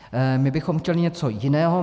My bychom chtěli něco jiného.